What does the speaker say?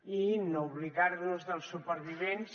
i no oblidar nos dels supervivents